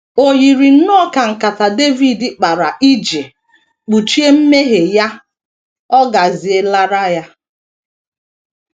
O yiri nnọọ ka nkata Devid kpara iji kpuchie mmehie ya ọ̀ gazielara ya.